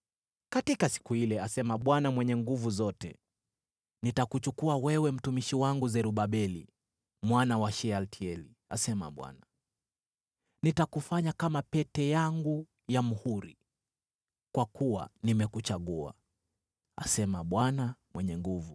“ ‘Katika siku ile,’ asema Bwana Mwenye Nguvu Zote, ‘nitakuchukua wewe, mtumishi wangu Zerubabeli mwana wa Shealtieli,’ asema Bwana . ‘Nitakufanya kama pete yangu ya muhuri, kwa kuwa nimekuchagua,’ asema Bwana Mwenye Nguvu Zote.”